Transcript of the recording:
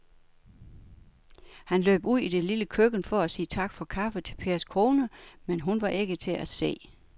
Han løb ud i det lille køkken for at sige tak for kaffe til Pers kone, men hun var ikke til at se.